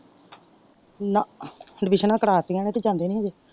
ਨਾ ਅਡਮਿਸ਼ਨਾ ਕਰਵਾਤੀਆਂ ਨੇ ਤੇ ਜਾਂਦੇ ਨੀ ਹਜੇ।